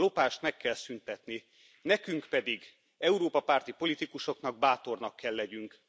A lopást meg kell szüntetni, nekünk pedig Európa párti politikusoknak, bátornak kell legyünk.